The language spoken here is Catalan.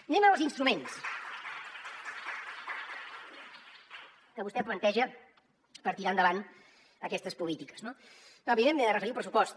anem als instruments que vostè planteja per tirar endavant aquestes polítiques no evidentment m’he de referir al pressupost